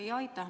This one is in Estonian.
Aitäh!